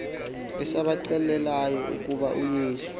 esabaxelelayo ukuba uyesu